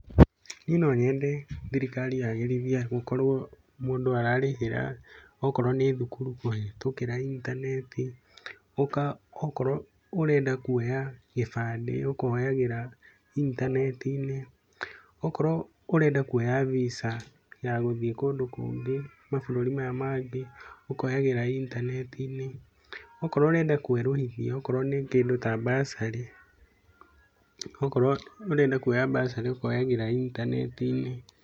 Niĩ no nyende thirikari yagĩrithie gũkorwo mũndũ ararĩhĩra okorwo nĩ thukuru kũhĩtũkĩra intaneti, okorwo ũrenda kuoya gĩbandĩ ũkoyagĩra intanet-inĩ, okorwo ũrenda kuoya visa ya gũthiĩ kũndũ kũngĩ, mabũrũri maya mangĩ ũkoyagĩra intaneti-inĩ, okorwo ũrenda kwerũhithia okorwo nĩ kĩndũ ta bursary, okorwo ũrenda kuoya bursary ũkoyagĩra intaneti-inĩ.